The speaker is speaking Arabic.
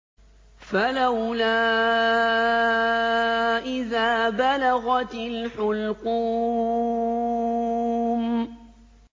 فَلَوْلَا إِذَا بَلَغَتِ الْحُلْقُومَ